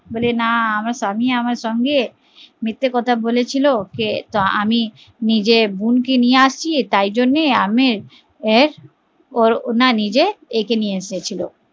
বলে না আমার স্বামী আমার সঙ্গে মিথ্যে কথা বলেছিলো কে আমি নিজের বোন কে নিয়ে আসি তাই জন্য আমি তাই নিজের এইকে নিয়ে এসেছিলো